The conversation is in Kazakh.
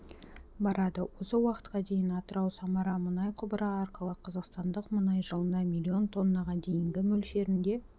барады осы уақытқа дейін атырау-самара мұнай құбыры арқылы қазақстандық мұнай жылына млн тоннаға дейінгі мөлшерінде